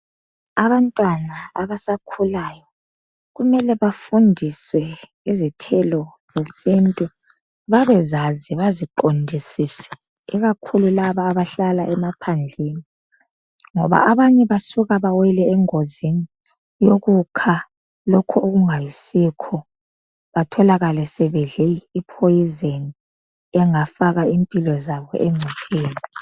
Abantwana abasakhulayo kumele bafundiswe izithelo zesintu, babezazi baziqondisise, ikakhulu laba abahlala emaphandleni, ngoba abanye basuka bawele engozini yokukha lokho okungayisikho batholakale sebedle i poison engafaka impilo zabo engcopheni.